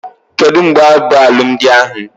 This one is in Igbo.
Kedụ mgbe bụ alụmdi ahụ?